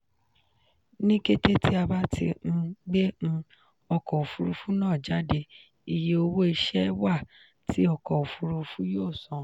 ni kete ti a ba ti um gbe um ọkọ ofurufu naa jade iye owo iṣẹ wa ti ọkọ ofurufu yoo san.